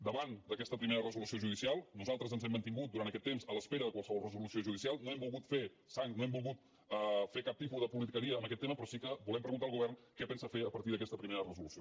davant d’aquesta primera resolució judicial nosaltres ens hem mantingut durant aquest temps a l’espera de qualsevol resolució judicial no hem volgut fer sang no hem volgut fer cap tipus de politiqueria en aquest tema però sí que volem preguntar al govern què pensa fer a partir d’aquesta primera resolució